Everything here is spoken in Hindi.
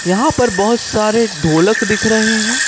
यहां पर बहोत सारे ढोलक दिख रहे हैं।